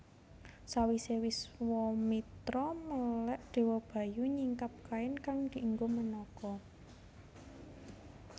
Sawise Wiswamitra melèk Dewa Bayu nyingkap kain kang dienggo Menaka